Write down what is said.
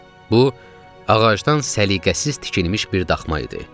Bu ağacdan səliqəsiz tikilmiş bir daxma idi.